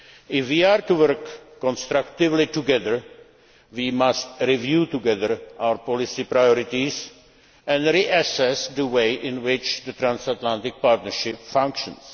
outcomes. If we are to work constructively together we must review together our policy priorities, and reassess the way in which the transatlantic partnership functions.